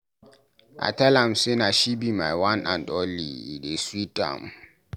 I tell am say na she be my one and only, e dey sweet am.